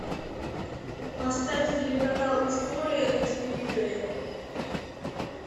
поставь телеканал история на телевизоре